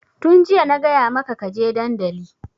Tun jiya na gaya maka ka je dandali!